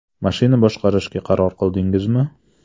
Mashina boshqarishga qaror qildingizmi?